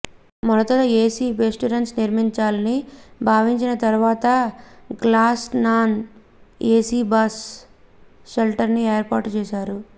తొలుత AC bus shelters నిర్మించాలని భావించినా తర్వాత గ్లాస్ నాన్ ఏసీ బస్ షెల్టర్స్ను ఏర్పాటు చేశారు